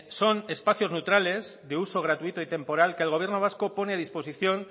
son espacios neutrales de uso gratuito y temporal que el gobierno vasco pone a disposición